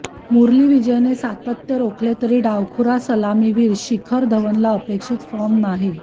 मुरली विजयने सातत्य राखले तरी डावखुरा सलामीवीर शिखर धवनला अपेक्षित फॉर्म नाही